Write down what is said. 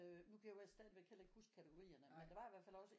Øh nu kan jeg stadigvæk ikke huske kategorierne men der var i hvert fald også